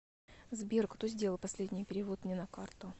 сбер кто сделал последний перевод мне на карту